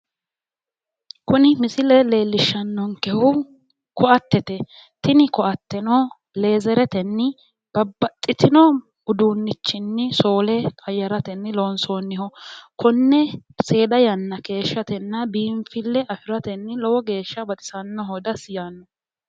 Kuni misile leellishshanonkehu ko'attete. Tini ko'atteno leezeretenni babbaxxino uduunnichinni soole qayyaratenni loonsoonniho konne seeda yanna keeshshatenna biinfille afiratenni lowo heeshsha baxisannoho dessi yaannoho.